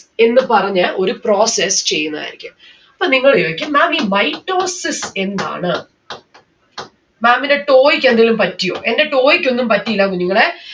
എന്ന് പറഞ്ഞ ഒരു process ചെയ്യുന്നതായിരിക്കും. അപ്പൊ നിങ്ങള് ചോയിക്കും ma'am ഈ mitosis എന്താണ്? ma'am ന്റെ toe ക്ക് എന്തെങ്കിലും പറ്റിയോ എന്റെ toe ക്ക് ഒന്നും പറ്റിയില്ല കുഞ്ഞുങ്ങളെ